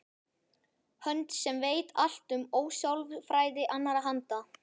Hönd sem veit allt um ósjálfræði annarra handa.